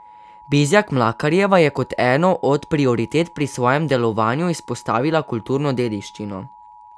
Bizjak Mlakarjeva je kot eno od prioritet pri svojem delovanju izpostavila kulturno dediščino.